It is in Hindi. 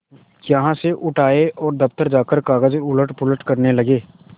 यहाँ से उठ आये और दफ्तर जाकर कागज उलटपलट करने लगे